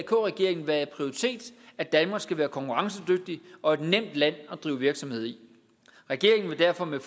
regeringen at danmark skal være konkurrencedygtigt og et nemt land at drive virksomhed i regeringen vil derfor med